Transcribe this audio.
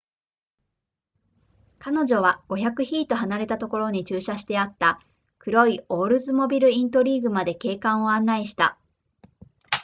彼女は500フィート離れたところに駐車してあった黒いオールズモビルイントリーグまで警官を案内した